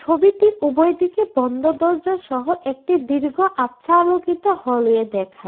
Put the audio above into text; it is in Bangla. ছবিটির উভয় দিকে বন্ধ দরজাসহ একটি দীর্ঘ আবছা আলোকিত হলওয়ে দেখায়।